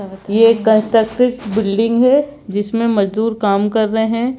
यह constructed building है जिसमें मजदूर काम कर रहे हैं।